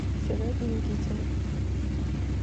сереге никитине